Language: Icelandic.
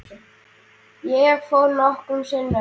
Ég fór nokkrum sinnum.